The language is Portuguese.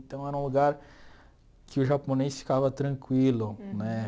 Então era um lugar que o japonês ficava tranquilo, né?